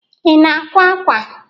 Ị na-akwa ákwà?